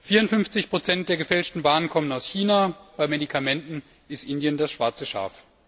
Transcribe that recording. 54 der gefälschten Waren kommen aus China, bei Medikamenten ist Indien das schwarze Schaf.